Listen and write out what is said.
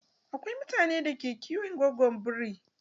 Akwai mutanen da ke kiwon gogon biri.